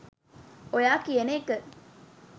ඔයා කියන එක